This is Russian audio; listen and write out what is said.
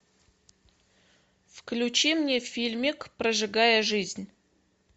включи мне фильмик прожигая жизнь